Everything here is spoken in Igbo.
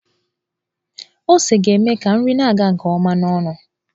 Ose ga-eme ka nri na-aga nke ọma n'ọnụ.